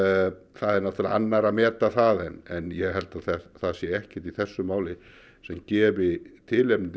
það er nú annarra að meta það en ég held að það sé ekkert í þessu máli sem gefi tilefni til